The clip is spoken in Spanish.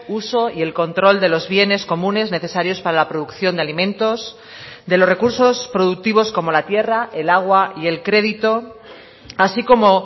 uso y el control de los bienes comunes necesarios para la producción de alimentos de los recursos productivos como la tierra el agua y el crédito así como